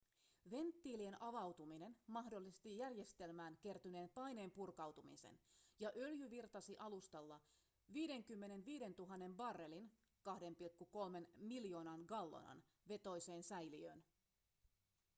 venttiilien avautuminen mahdollisti järjestelmään kertyneen paineen purkautumiseen ja öljy virtasi alustalla 55 000 barrelin 2,3 miljoonan gallonan vetoiseen säiliöön